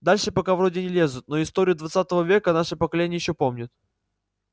дальше пока вроде не лезут но историю двадцатого века наше поколение ещё помнит